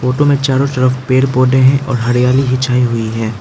Photo में चारो तरफ पेड़ पौधे हैं और हरियाली भी छाई हुई है।